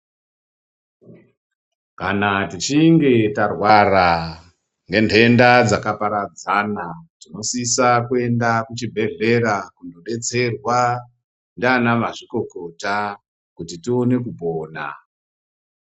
Kana tichinge tarwara nenhenda dzakaparadzana tinosisa kuenda kuzvibhedhlera kunodetserwa nana mazvikokota kuti tione kupona.